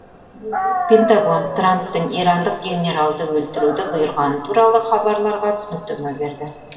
пентагон трамптың ирандық генералды өлтіруді бұйырғаны туралы хабарларға түсініктеме берді